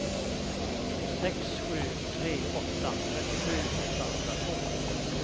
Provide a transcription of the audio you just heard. sex sju tre åtta trettiosju åttahundratvå